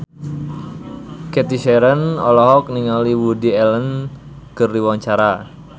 Cathy Sharon olohok ningali Woody Allen keur diwawancara